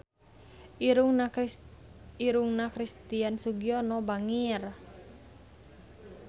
Irungna Christian Sugiono bangir